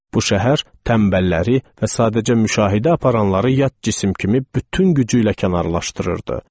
Bu şəhər tənbəlləri və sadəcə müşahidə aparanları yad cisim kimi bütün gücü ilə kənarlaşdırırdı.